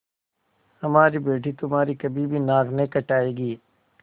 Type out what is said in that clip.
हमारी बेटी तुम्हारी कभी भी नाक नहीं कटायेगी